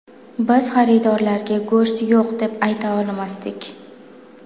Biz xaridorlarga go‘sht yo‘q deb ayta olmasdik.